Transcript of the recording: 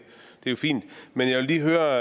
videre